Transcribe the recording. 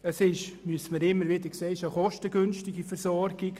Man muss immer wieder sehen, dass diese Versorgung kostengünstig ist.